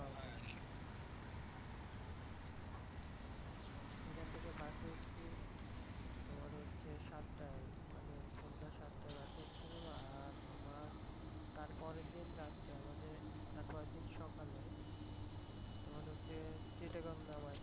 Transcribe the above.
এখান থেকে বাসে উঠছি তোমার হচ্ছে সাতটায় মানে সন্ধ্যা সাতটায় বাসে উঠছিলাম আর তোমার তার পরের দিন রাত্রে আমাদের তারপর দিন সকালে তোমার হচ্ছে চিটাগাং নামাই দেয়।